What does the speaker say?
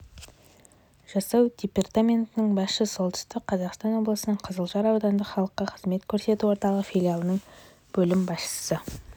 жасау департаментінің басшысы солтүстік қазақстан облысының қызылжар аудандық халыққа қызмет көрсету орталығы филиалының бөлім басшысы